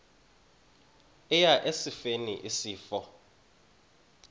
eya esifeni isifo